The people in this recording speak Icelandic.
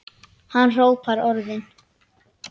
Hann hrópar orðin.